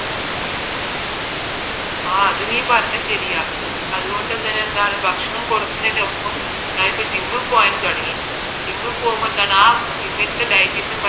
ആ അത് നീ പറഞ്ഞത് ശരിയാ അതുകൊണ്ട് ഞാൻ എന്തായാലും ഭക്ഷണം കുറക്കുന്നതിനൊപ്പം ഞാൻ ഇപ്പോൾ gym മ്മിൽ പോവാനും തുടങ്ങി gym ൽ പോവുമ്പോൾ എന്താണ് ആ gym ലത്തെ dietician പറയുന്ന പ്രകാരമുള്ള ഭക്ഷണമെ കഴിക്കാൻ പാടുള്ളൂ